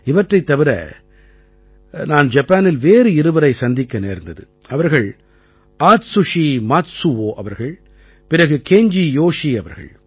இவற்றைத் தவிர நான் ஜப்பானில் வேறு இருவரைச் சந்திக்க நேர்ந்தது அவர்கள் ஆத்சுஷி மாத்சுவோ அவர்கள் பிறகு கேஞ்ஜி யோஷீ அவர்கள்